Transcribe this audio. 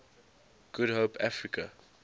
good hope africa